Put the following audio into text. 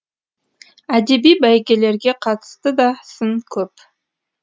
әдеби бәйгелерге қатысты да сын көп